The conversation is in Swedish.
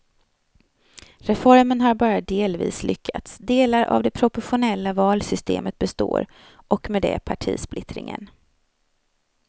Reformen har bara delvis lyckats, delar av det proportionella valsystemet består och med det partisplittringen.